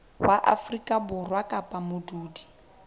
wa afrika borwa kapa modudi